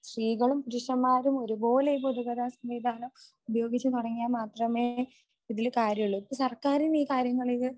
സ്ത്രീകളും പുരുഷന്മാരും ഒരുപോലെ ഈ പൊതുഗതാഗത സംവിധാനം ഉപയോഗിച്ച് തുടങ്ങിയാൽ മാത്രമേ ഇതിൽ കാര്യമുള്ളൂ. ഇപ്പോ സർക്കാരിന് ഈ കാര്യങ്ങളിൽ